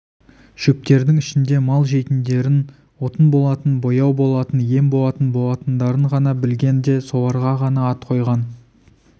шөптердің ішінде мал жейтіндерін отын болатын бояу болатын ем болатын болатындарын ғана білген де соларға ғана ат қойған